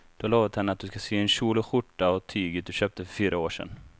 Du har lovat henne att du ska sy en kjol och skjorta av tyget du köpte för fyra år sedan.